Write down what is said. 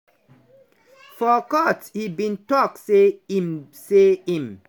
for court e bin tok say im say im